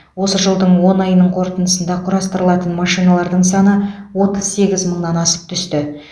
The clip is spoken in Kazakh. осы жылдың он айының қорытындысында құрастырылған машиналардың саны отыз сегіз мыңнан асып түсті